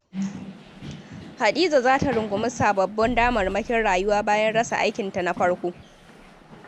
Hadiza za ta rungumi sababbin damarmakin rayuwa bayan rasa aikinta na farko.